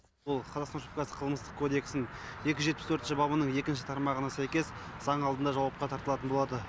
ол қазақстан республикасы қылмыстық кодексінің екі жүз жетпіс төртінші бабының екінші тармағына сәйкес заң алдында жауапқа тартылатын болады